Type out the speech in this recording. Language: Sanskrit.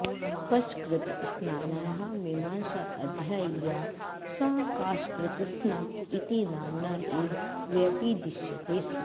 कशकृत्स्नायाः मीमांसाध्यायी या सा काशकृत्स्ना इति नाम्ना एव व्यपदिश्यते स्म